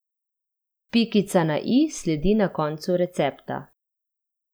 Pikica na i sledi na koncu recepta.